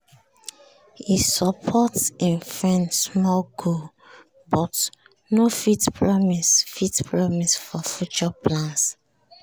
he support him friend small goal but no fit promise fit promise for future plans